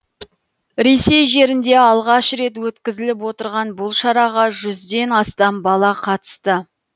ресей жерінде алғаш рет өткізіліп отырған бұл шараға жүзден астам бала қатысты